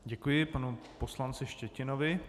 Děkuji panu poslanci Štětinovi.